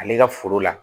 Ale ka foro la